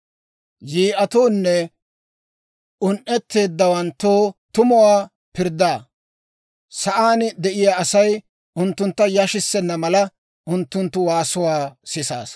Yi'atoone un"etteeddawanttoo tumuwaa pirddaa; sa'aan de'iyaa asay, unttuntta yashissenna mala, Unttunttu waasuwaa sisaasa.